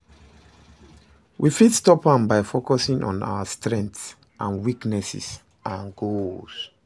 We fit stop am by focusing on our own strengths and weaknesses and goals.